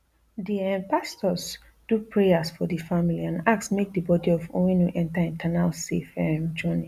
di um pastors do prayers for di family and ask make di bodi of onwenu enta eternal safe um journey